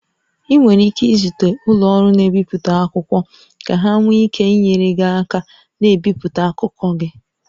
Ị nwere ike izute ụlọ ọrụ na-ebipụta akwụkwọ ka ha nwee ike inyere gị aka na-ebipụta akụkọ gị